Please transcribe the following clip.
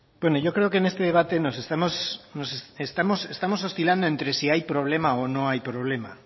bueno yo creo que en este debate estamos oscilando entre si hay problema o no hay problema